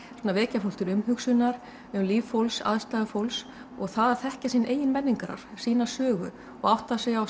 vekja fólk til umhugsunar um líf fólks aðstæður fólks og að þekkja sinn eigin menningararf sína sögu og átta sig á